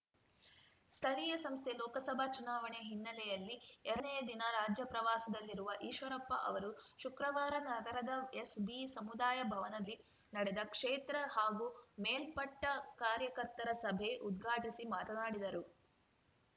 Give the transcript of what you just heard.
ಸ್ಥಳೀಯ ಸಂಸ್ಥೆ ಲೋಕಸಭಾ ಚುನಾವಣೆ ಹಿನ್ನೆಲೆಯಲ್ಲಿ ಎರಡನೇ ದಿನ ರಾಜ್ಯ ಪ್ರವಾಸದಲ್ಲಿರುವ ಈಶ್ವರಪ್ಪ ಅವರು ಶುಕ್ರವಾರ ನಗರದ ಎಸ್‌ಬಿಸಮುದಾಯ ಭವನದಿ ನಡೆದ ಕ್ಷೇತ್ರ ಹಾಗೂ ಮೇಲ್ಪಟ್ಟಕಾರ್ಯಕರ್ತರ ಸಭೆ ಉದ್ಘಾಟಿಸಿ ಮಾತನಾಡಿದರು